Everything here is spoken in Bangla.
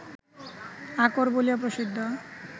আকর বলিয়া প্রসিদ্ধ